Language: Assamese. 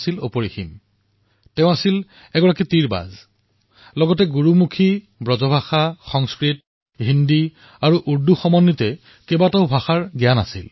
তেওঁ এক ধনুৰ্ধৰ হোৱাৰ লগতে গুৰুমুখী ব্ৰজভাষা সংস্কৃত ফাৰ্চী হিন্দী আৰু উৰ্দু ভাষাৰ বিষয়েও জানিছিল